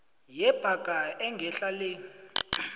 yebhaga engehla le